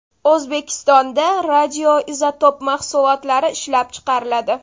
O‘zbekistonda radioizotop mahsulotlari ishlab chiqariladi.